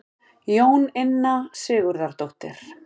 Jóninna Sigurðardóttir.